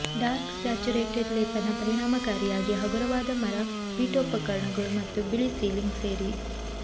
dark saturated ಲೇಪನ ಪರಿಣಾಮಕಾರಿಯಾಗಿ ಹಗುರವಾದ ಮರ ಪೀಠೋಪಕರಣಗಳು ಮತ್ತು ಬಿಳಿ ಸೀಲಿಂಗ್ ಸೇರಿ